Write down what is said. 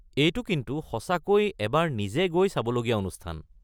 এইটো কিন্তু সঁচাকৈ এবাৰ নিজে গৈ চাবলগীয়া অনুষ্ঠান।